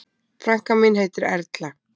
Frænka mín heitir Erla.